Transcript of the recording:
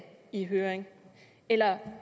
i høring eller